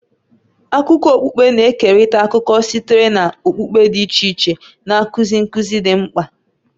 Akụkọ okpukpe na-ekerịta akụkọ sitere na okpukpe dị iche iche, na-akụzi nkuzi dị mkpa.